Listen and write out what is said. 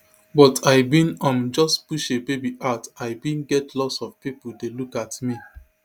but i bin um just push a baby out i bin get lots of pipo dey look at me